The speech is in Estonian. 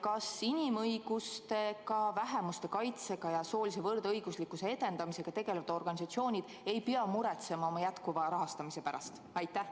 Kas inimõiguste, ka vähemuste kaitsega ja soolise võrdõiguslikkuse edendamisega tegelevad organisatsioonid ei pea muretsema oma jätkuva rahastamise pärast?